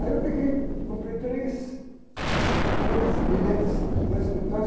Aí eu comprei três, três bilhetes de dois, dois